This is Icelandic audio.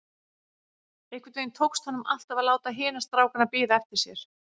Einhvern veginn tókst honum alltaf að láta hina strákana bíða eftir sér.